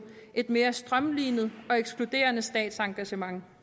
et mere strømlinet og ekskluderende statsengagement